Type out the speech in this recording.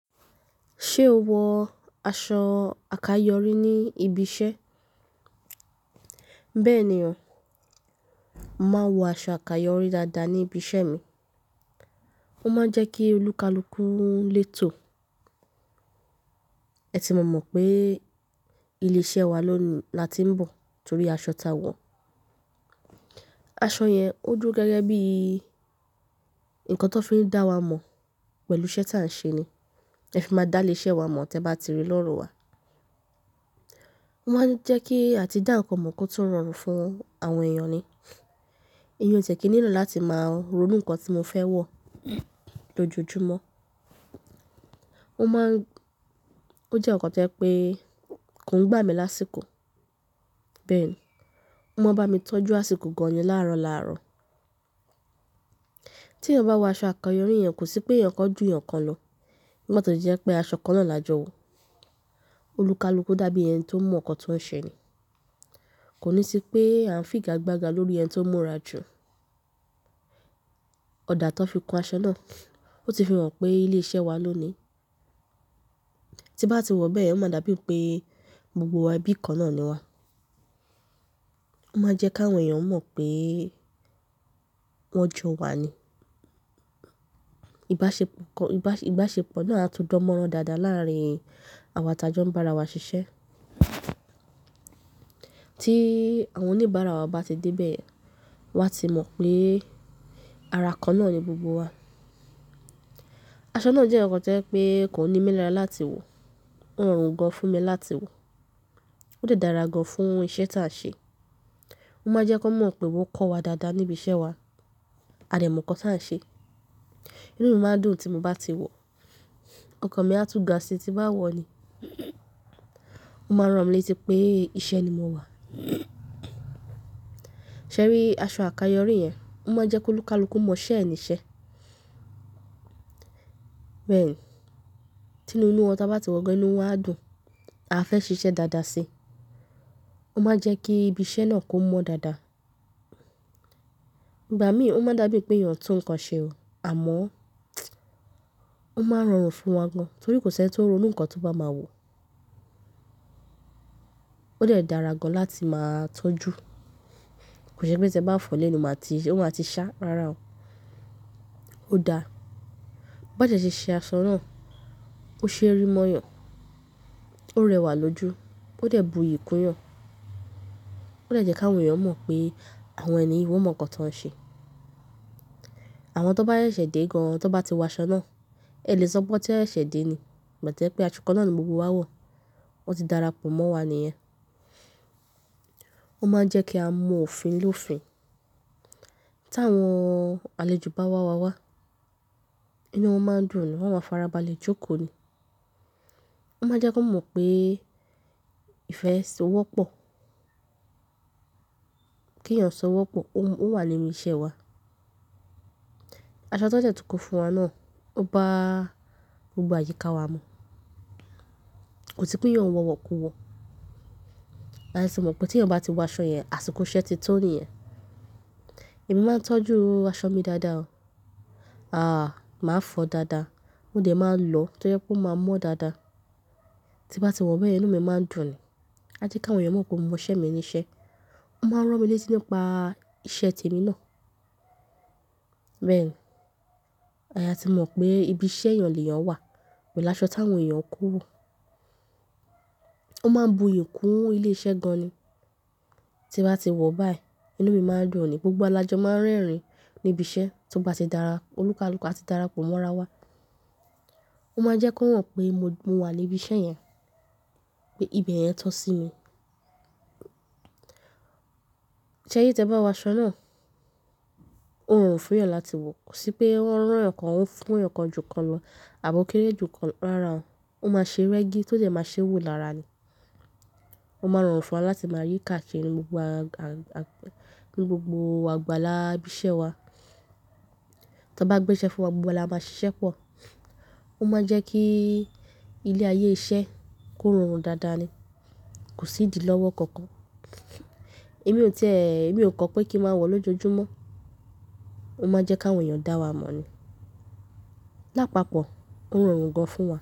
Ṣé o wọ aṣọ àkayọ̀rí ní ibi iṣẹ́? Bẹ́ẹ̀ni ọ̀, n màá wọ aṣọ àkayọ̀rí dáadáa ní ibi iṣẹ́ mi. Ó máa ń jẹ́ kí olúkalúkú léto. Ẹ ti má mọ̀ pé ilé-iṣẹ́ wa ló ni la ti ń bọ̀ torí aṣọ tá a wọ̀. Aṣọ yẹn ó dúró gẹ́gẹ́ bí ǹkan tó fi ń dá wa mọ̀ pẹ̀lú iṣẹ́ táà ń ṣe ni. Ẹ fi máa dá léṣẹ́ wa mọ̀ tí ẹ bá ti rí lọ́rùn wa. Ó máa ń jẹ́ kí a ti dá ǹkan mọ̀ kó tó rọrùn fún àwọn èèyàn ni. Èmi ó ti ẹ kí nílò láti máa ronú ǹkan tí mo fẹ́ wọ̀ lójoojúmọ́. Ó máa ń-- ó jẹ́ ǹkan tí jẹ pé kò ń gbà mí lásìkò. Bẹ́ẹ̀ ni, ó máa ń bá mi tọ́jú àsìkò gan-an láàrọ̀ lárọ̀. Tí èèyàn bá wọ aṣọ àkayọ̀rí, èèyàn kò sí pé èèyàn kan ju èèyàn kan lọ. Nígbà tó jẹ́ pé aṣọ kan náà la jọ wọ̀. Olúkalúkú dàbí ẹni tó mọ̀ ǹkan tó ń ṣe ni. Kò ní sí pé a ń figagbága lórí ẹni tó mú'ra jù. Ọ̀dà tó fi kun aṣọ náà, ó ti fi hàn pé ilé iṣẹ́ wa ló ni. Tí ń bá ti wọ̀ bẹ́yẹn, ó máa dàbí pé gbogbo wa bí kan náà ni wá. Ó máa ń jẹ́ kí àwọn èèyàn mọ̀ pé wọ́n jọ wa ni. Ìbáṣepọ̀ kan, ìbáṣe-ìbáṣepọ̀ náà á tu dánmọ́rán dáadáa láàárín àwa tá jọ́ ń bá ara wa ṣiṣẹ́. Tí àwọn oníbàárà wa bá ti dé bẹ́ẹ̀, wọ́n á ti mọ̀ pé ara kan náà ni gbogbo wa. Aṣọ náà jẹ́ ǹkan tí ẹ pé kò ń ní mí lára láti wọ̀. Ó rọrùn gan-an fún mi láti wọ̀. Ó dà dára gan-an fún iṣẹ́ táà ń ṣe. Ó máa ń jẹ́ kí wọ́n mọ̀ pé wọ́n kọ́ wa dáadáa níbi iṣẹ́ wa. A dẹ̀ mọ̀ ǹkan táà ń ṣe. Inú mi máa dùn tí mo bá ti wọ̀. Ọkàn mi á tú ga sí tí bá wọ̀ ni. Ó máa ń ràn mí létí pé iṣẹ́ ni mo wá. Ṣé rí aṣọ àkayọ̀rí yẹn? Ó máa ń jẹ́ kí olúkalúkú mọ̀ ṣé ẹni ṣẹ́. Bẹ́ẹ̀ ni, tí inú wọn ta bá ti wọ́n gan-an, inú wọn á dùn. A fẹ́ ṣiṣẹ́ dáadáa sí i. Ó máa ń jẹ́ kí ibi iṣẹ́ náà kó mọ́ dáadáa. Ìgbà mí, ó máa dàbí pé èèyàn ń tún ǹkan ṣe o. Àmọ́, ó máa ń rọrùn fún wa gan-an torí kò ṣẹ́ni tó ń ronú ǹkan tó bá máa wọ̀. Ó dẹ̀ dára gan-an láti máa tó jù. Kò ṣe pé tí ẹ bá fọ̀ ó lẹ́nu, màá ti-- ó máa ti ṣá rárá o. Ó dáa. Bọ́ dẹ̀ ṣe ṣe aṣọ náà, ó ṣe rí mọ́ èèyàn, ó rẹwà lójú, ó dà è bu'yi kún èèyàn. Ó dẹ̀ jẹ́ kí àwọn èèyàn mọ̀ pé àwọn ẹniyi, wọ́n mọ̀ ǹkan tó ń ṣe. Àwọn tó bá ṣẹ̀ṣẹ̀ dé gan-an, tó bá ti wọ aṣọ náà, ẹ lè sọ pé tí ẹ ṣẹ̀ṣẹ̀ dé ni. Ìgbà tó jẹ́ pé aṣọ kan náà ni gbogbo wa wọ̀. Ó ti dára pọ̀ mọ́ wa ni yẹn. Ó máa ń jẹ́ kí a mọ òfin l'òfin. Tí àwọn àlejò bá wá wa wá, inú wọn máa ń dùn ni. Wọn á farabalẹ̀ jókòó ni. Ó máa ń jẹ́ kí wọ́n mọ̀ pé ìfẹ́ ṣe ó wọ́pọ̀. Kí èèyàn sọ wọ́pọ̀, ó wà nínú iṣẹ́ wa. Aṣọ tó sẹ́ tún kó fúnwa náà, ó bá gbogbo àyíká wa mọ̀. Kò sí pé èèyàn ò wọ̀ wọ̀ kú wọ̀. A lè sì mọ̀ pé tí èèyàn bá ti wọ aṣọ yẹn, àsìkò iṣẹ́ ti tó ni ẹ. Èmi máa ń tọ́jú aṣọ mi dáadáa o. Àh, màá fọ dáadáa. Ó dà máa ń lọ tó jẹ́ pé ó máa ń mọ́ dáadáa. Tí bá ti wọ̀ bẹ́ẹ̀, inú mi máa ń dùn ni. A jẹ́ kí àwọn èèyàn mọ̀ pé mo mọṣẹ́ mi ní iṣẹ́. Ó máa ń ràn mí létí nípa iṣẹ́ tèmi náà. Bẹ́ẹ̀ ni, ayà tí mọ̀ pé ibi iṣẹ́ èèyàn lè èèyàn wà, pẹ̀lú láṣọ táwọn èèyàn kú wò. Ó máa ń bu'yi kún ilé iṣẹ́ gan-an ni. Tí bá ti wọ̀ báyìí, inú mi máa ń dùn ni. Gbogbo wa láájọ máa ń rẹ́rìn-ín níbi iṣẹ́ tí ó bá ti dára. Olúkalúkú á ti dára pọ̀ mọ́ ara wa. Ó máa ń jẹ́ kó hàn pé mo wà ní ibi iṣẹ́ yẹn. Pé ibẹ̀ yẹn tọ sí mi. Ṣé rí tí ẹ bá wọ aṣọ náà, ó rọrùn fún èèyàn láti wọ̀. Kò sí pé ó ń ràn ẹ̀yàn kan, ó ń fún èèyàn kan ju kan lọ àbọ́ọ́kéré ju kan rárá ò. Ó máa ṣe rẹ́gí tó jẹ́ máa ṣe wò lára ni. Ó máa ń rọrùn fún wa láti máa yí káàkiri ní gbogbo àga, ní gbogbo àgbàlá ibi iṣẹ́ wa. Tí wọ́n bá gbé iṣẹ́ fún wa, gbogbo wa la máa ṣiṣẹ́ pọ̀. Ó máa ń jẹ́ kí ilé ayé iṣẹ́ kó rọrùn dáadáa ni. Kò sí ìdí lọ́wọ́ kankan. Èmi ò tí è, èmi ò kọ́ pé kí n máa wọ̀ lójoojúmọ́. Ó máa ń jẹ́ kí àwọn èèyàn dá wa mọ̀ ni. Lápapọ̀, ó rọrùn gan-an fún wa.